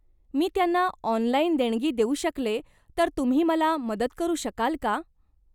मी त्यांना ऑनलाइन देणगी देऊ शकले तर तुम्ही मला मदत करू शकाल का?